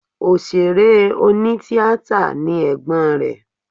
Òṣèré onítíatà ni ẹ̀gbọ́n rẹ̀